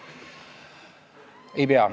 Ei pea.